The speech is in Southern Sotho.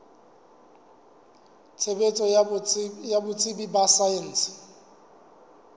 tshebetso ya botsebi ba saense